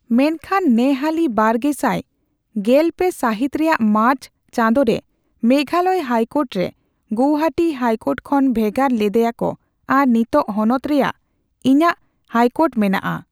ᱢᱮᱱᱠᱷᱟᱱ ᱱᱮᱦᱟᱹᱞᱤ ᱵᱟᱨᱜᱮᱥᱟᱭ ᱜᱮᱞᱯᱮ ᱥᱟᱹᱦᱤᱛ ᱨᱮᱭᱟᱜ ᱢᱟᱨᱪ ᱪᱟᱸᱫᱚ ᱨᱮ, ᱢᱮᱜᱷᱟᱞᱚᱭ ᱦᱟᱭᱠᱳᱨᱴ ᱨᱮ ᱜᱳᱣᱦᱟᱹᱴᱤ ᱦᱟᱭᱠᱳᱴ ᱠᱷᱚᱱ ᱵᱷᱮᱜᱟᱨ ᱞᱮᱫᱮᱭᱟᱠᱚ ᱟᱨ ᱱᱤᱛᱚᱜ ᱦᱚᱱᱚᱛ ᱨᱮᱭᱟᱜ ᱤᱧᱟᱜ ᱦᱟᱭᱠᱳᱴ ᱢᱮᱱᱟᱜᱼᱟ ᱾